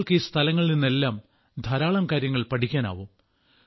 നിങ്ങൾക്ക് ഈ സ്ഥലങ്ങളിൽ നിന്നെല്ലാം ധാരാളം കാര്യങ്ങൾ പഠിക്കാനാകും